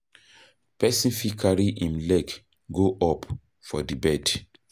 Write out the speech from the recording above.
Person fit carry im leg go up for di bed